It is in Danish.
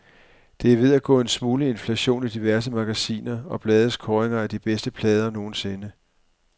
Der er ved at gå en smule inflation i diverse magasiner og blades kåringer af de bedste plader nogensinde.